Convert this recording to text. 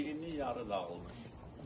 Birini yarı dağıtmışdılar.